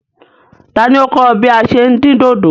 Tani o kọ̀ ọ bí à ṣé ń dín dòdò?